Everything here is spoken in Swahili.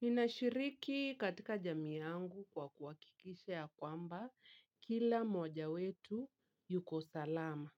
Ninashiriki katika jamii yangu kwa kuhakikisha ya kwamba kila moja wetu yuko salama.